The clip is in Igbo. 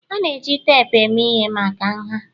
A na-eji teepu eme ihe maka nha